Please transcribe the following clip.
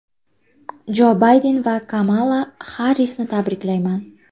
Jo Bayden va Kamala Xarrisni tabriklayman”.